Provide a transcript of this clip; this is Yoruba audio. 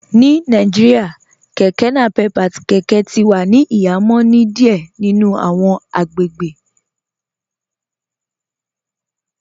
Ní Nàìjíríà kẹkẹ napep àti kẹkẹ ti wà ní ìhàmọ̀ ni díẹ̀ nínu awọn agbègbè